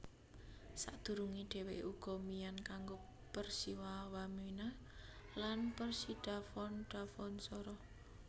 Sadurunge dheweke uga mian kanggo Persiwa Wamena lan Persidafon Dafonsoro